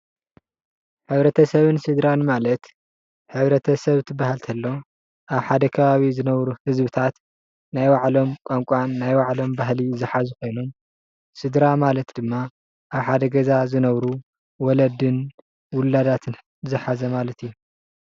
ሕብረተሰብን ስድራን ማለት ሕብረተሰብ ክበሃል እንተሎ ኣብ ሓደ ከባቢ ዝነብሩ ህዝብታት ናይ ባዕሎም ቋንቋን ባህሊን ዝሓዙ ኮይኖም ስድራ ማለት ድማ ኣብ ሓደ ገዛ ዝነብሩ ወለድን ውላዳትን ዝሓዘ ማለት እዩ።